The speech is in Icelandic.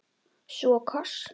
Svo koss.